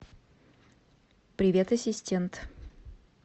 привет ассистент